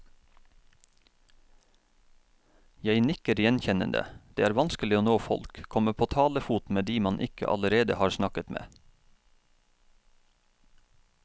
Jeg nikker gjenkjennende, det er vanskelig å nå folk, komme på talefot med de man ikke allerede har snakket med.